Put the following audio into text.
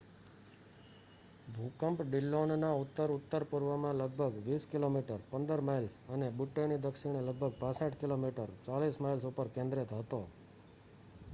ભૂકંપ ડીલ્લોનનાં ઉત્તર-ઉત્તર પૂર્વમાં લગભગ 20 કિમી 15 માઈલ્સ અને બુટ્ટેની દક્ષિણે લગભગ 65 કિમી 40 માઈલ્સ ઉપર કેન્દ્રિત હતો